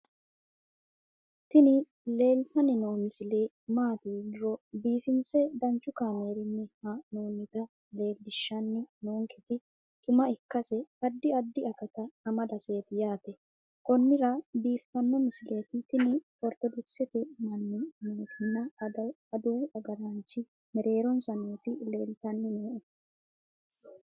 tini leeltanni noo misile maaati yiniro biifinse danchu kaamerinni haa'noonnita leellishshanni nonketi xuma ikkase addi addi akata amadaseeti yaate konnira biiffanno misileeti tini ortodokisete manni nootinna adawu agaraanchi mereeronsa noti leeltanni nooe